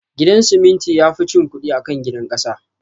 Gidan siminti yafi cin kudi akan gidan kasa